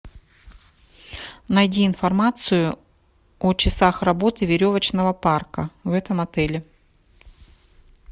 найди информацию о часах работы веревочного парка в этом отеле